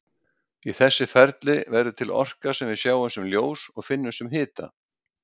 Í þessu ferli verður til orka sem við sjáum sem ljós og finnum sem hita.